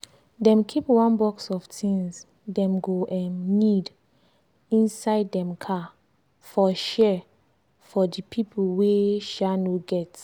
dem keep one box of things dem go um need inside dem car for share for di pipo wey um no get.